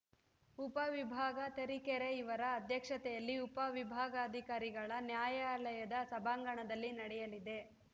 ಉಪ ವಿಭಾಗ ತರೀಕೆರೆ ಇವರ ಅಧ್ಯಕ್ಷತೆಯಲ್ಲಿ ಉಪ ವಿಭಾಗಾಧಿಕಾರಿಗಳ ನ್ಯಾಯಾಲಯದ ಸಭಾಂಗಣದಲ್ಲಿ ನಡೆಯಲಿದೆ